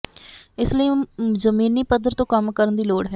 ਇਸ ਲਈ ਜਮੀਨੀ ਪੱਧਰ ਤੋਂ ਕੰਮ ਕਰਨ ਦੀ ਲੋੜ ਹੈ